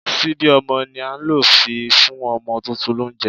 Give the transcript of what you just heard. Síbí ọmọ ni a ń lò fi fún ọmọ tuntun lóunjẹ